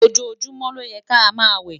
ojojumọ ló yè ká má wẹ